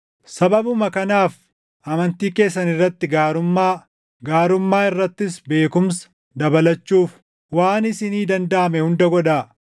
Sababuma kanaaf amantii keessan irratti gaarummaa, gaarummaa irrattis beekumsa dabalachuuf waan isinii dandaʼame hunda godhaa;